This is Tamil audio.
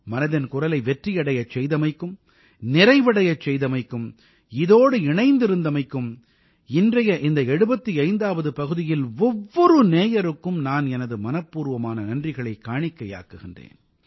மனதின் குரலை வெற்றி அடையச் செய்தமைக்கும் நிறைவடையச் செய்தமைக்கும் இதோடு இணைந்திருந்தமைக்கும் இன்றைய இந்த 75ஆவது பகுதியில் ஒவ்வொரு நேயருக்கும் நான் எனது மனப்பூர்வமான நன்றிகளைக் காணிக்கையாக்குகின்றேன்